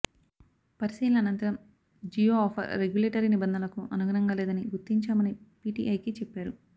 పరిశీలన అనంతరం Jio offer regulatory నిబంధనలకు అనుగుణంగా లేదని గుర్తించామని పీటీఐకి చెప్పారు